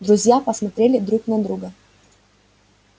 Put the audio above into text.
друзья посмотрели друг на друга